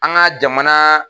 An ka jamana